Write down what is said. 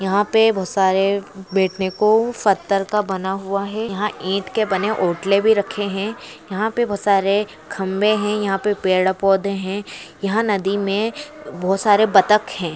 यहां पर बहुत सारे बैठने को सत्तार का बना हुआ है। यहां के वोट की बनी पी बोतले भी रखी हुई है। यहां पर बहुत सारे खंबे हैं। पेड़ पौधे हैं। यहां नदी में यहां पर बहुत सारे बटक है।